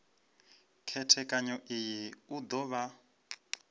khethekanyo iyi u do vha